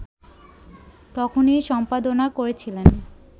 তখনি সম্পাদনা করেছিলেন